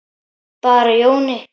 Bara Jóni.